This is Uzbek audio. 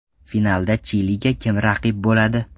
Finalda Chiliga kim raqib bo‘ladi?